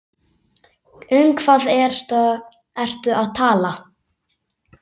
Um hvað ertu að tala?